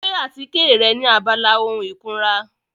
Gbé àtíkè rẹ ní abala ohun ìkunra.